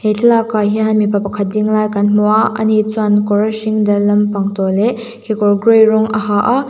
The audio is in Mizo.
thlalak ah hian mipa pakhat ding lai kan hmu a a ni chuan kawr hring dal lampang tawh leh kekawr grey rawng a ha a.